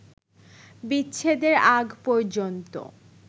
বিচ্ছেদের আগ পর্যন্ত